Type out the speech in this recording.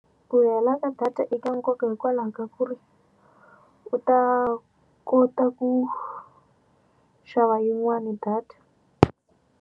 Ku hela ka data eka nkoka hikwalaho ka ku ri u ta kota ku xava yin'wani data.